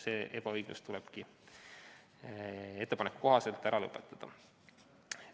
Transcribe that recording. See ebaõiglus tulebki eelnõu kohaselt ära lõpetada.